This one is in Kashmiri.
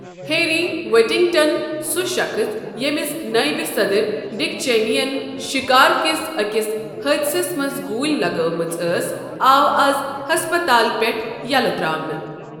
ہیری وایٹنگٹَن، سُہ شخص ییٚمِس نایِب صدٕر ڈِک چینی یَن شِکار کِس أکِس حٲدِسَس منٛز گوٗلۍ لگٲومٕژ ٲس آو اَز ہسپتال پیٹھٕ یلہٕ ترٛاونہٕ۔